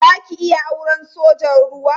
Za ki iya auren sojan ruwa?